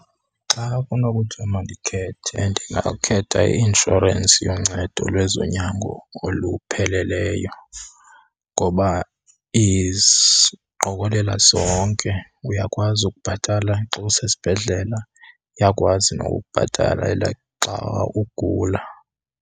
Xa kunokuthiwa mandikhethe ndingakhetha i-inshorensi yoncedo lwezonyango olupheleleyo ngoba iziqokelela zonke. Uyakwazi ukubhatala xa usesibhedlela iyakwazi nokukubhatalela xa ugula.